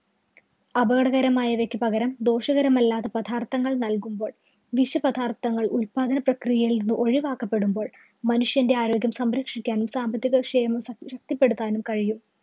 അപകടകരമായവയ്ക്ക് പകരം ദോഷകരമല്ലാത്ത പദാര്‍ത്ഥങ്ങള്‍ നല്‍കുമ്പോള്‍ വിഷപദാര്‍ത്ഥങ്ങള്‍ ഉത്പാദന പ്രക്രിയയില്‍ നിന്ന് ഒഴിവാക്കപ്പെടുമ്പോള്‍ മനുഷ്യന്‍റെ ആരോഗ്യം സംരക്ഷിക്കാനും, സാമ്പത്തിക വിഷയം ശശക്തിപ്പെടുത്താനും കഴിയും.